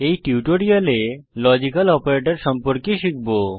এই টিউটোরিয়ালে logical operator সম্পর্কে শিখব